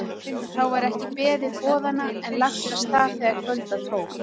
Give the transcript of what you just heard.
Þá var ekki beðið boðanna en lagt af stað þegar kvölda tók.